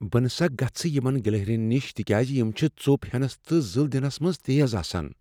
بہٕ نہ سا گژھٕ یمن گلہرین نِش تکیٛاز یم چھےٚ ژوٚپ ہینس تہٕ زٕل دِنَس منٛز تیز آسان۔